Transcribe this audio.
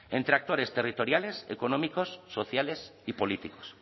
entre actores territoriales económicos sociales y políticos